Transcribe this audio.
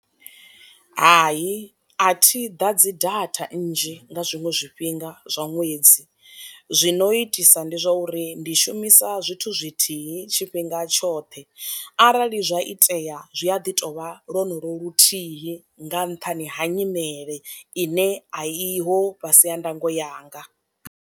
Hai a thi ḓadzi data nzhi nga zwiṅwe zwifhinga zwa ṅwedzi, zwino itisa ndi zwa uri ndi shumisa zwithu zwithihi tshi fhinga tshoṱhe arali zwa itea zwi a ḓi tovha lwonolo luthihi nga nṱhani ha nyimele ine a i ho fhasi ha ndango yanga.